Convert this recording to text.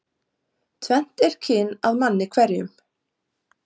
Tvennt er kyn að manni hverjum.